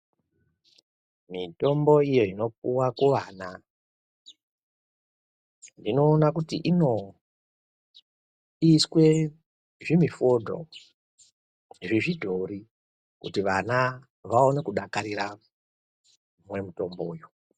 Mitombo iyo inopiwe kunana ndinoone kuti inoiswe zvinufoto zvechidhori kuti vana kudakarira Kumwe mutombo uyu.